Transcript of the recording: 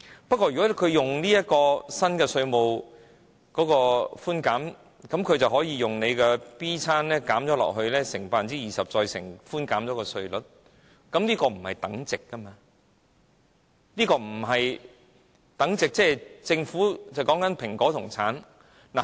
不過，如果他們使用新稅務寬減，便可以用 B 餐減，乘以 20%， 再乘以寬減的稅率，但這不是等值，就如政府在說蘋果和橙一樣。